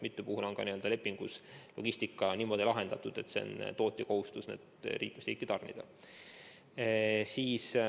Mitmel puhul on lepingus logistika niimoodi lahendatud, et on tootja kohustus vaktsiinid liikmesriiki tarnida.